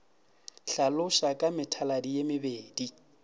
hlaloša ka methaladi ye mebedi